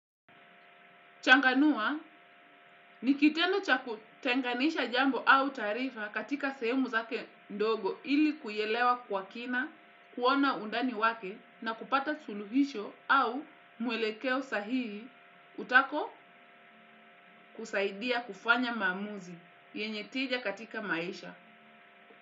Changanua, ni kitendo cha kutenganisha jambo au taarifa katika sehemu zake ndogo ili kuielewa kwa kina, kuona undani wake na kupata suluhisho au mwelekeo sahihi utako kusaidia kufanya maamuzi yenye tija katika maisha.